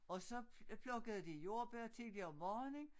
Og så plukkede de jordbær tidligt om morgenen